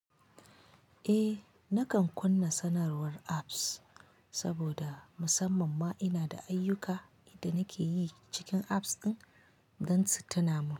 Eh, nakan kunna sanarwar apps saboda musamman ma ina da ayyuka inda nake yi cikin apps ɗin don su tuna min.